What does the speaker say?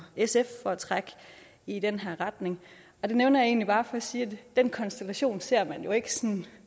sf for at trække i den her retning og det nævner jeg egentlig bare for at sige at den konstellation ser man ikke